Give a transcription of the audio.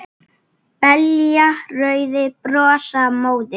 Belja rauðar blossa móður